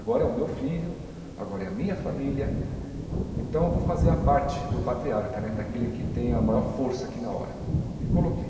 Agora é o meu filho, agora é a minha família, então eu vou fazer a parte do patriarca né, daquele que tem a maior força aqui na hora, e coloquei.